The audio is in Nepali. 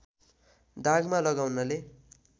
दागमा लगाउनाले